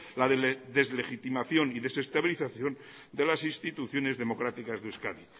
la deslegitimación y desestabilización de las instituciones democráticas de euskadi